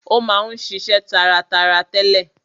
Ó ma ń ṣiṣe taratara tẹ́lẹ̀.